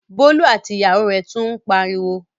Bólú àti ìyàwó rẹ̀ tún ń pariwo?